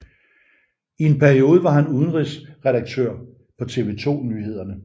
I en periode var han udenrigsredaktør på TV 2 Nyhederne